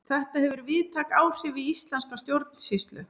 þetta hefur víðtæk áhrif á íslenska stjórnsýslu